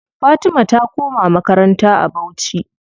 Fatima ta koma makaranta a bauchi.